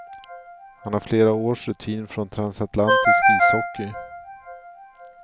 Han har flera års rutin från transatlantisk ishockey.